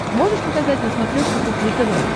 можешь показать на смотрешке кухня тв